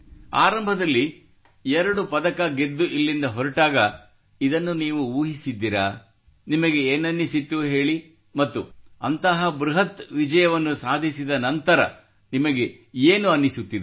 ಆರಂಭದಲ್ಲಿ ಎರಡು ಪದಕ ಗೆದ್ದು ಇಲ್ಲಿಂದ ಹೊರಟಾಗ ಇದನ್ನು ನೀವು ಊಹಿಸಿದ್ದಿರೆ ನಿಮಗೆ ಏನನ್ನಿಸಿತ್ತು ಹೇಳಿ ಮತ್ತು ಅಂತಹ ಬೃಹತ್ ವಿಜಯವನ್ನು ಸಾಧಿಸಿದ ನಂತರ ನೀಮಗೇನು ಅನ್ನಿಸುತ್ತಿದೆ